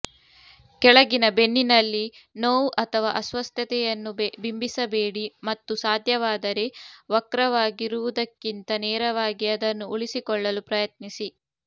ಕೆಳಗಿನ ಬೆನ್ನಿನಲ್ಲಿ ನೋವು ಅಥವಾ ಅಸ್ವಸ್ಥತೆಯನ್ನು ಬಿಂಬಿಸಬೇಡಿ ಮತ್ತು ಸಾಧ್ಯವಾದರೆ ವಕ್ರವಾಗಿರುವುದಕ್ಕಿಂತ ನೇರವಾಗಿ ಅದನ್ನು ಉಳಿಸಿಕೊಳ್ಳಲು ಪ್ರಯತ್ನಿಸಿ